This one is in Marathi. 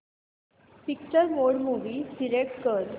पिक्चर मोड मूवी सिलेक्ट कर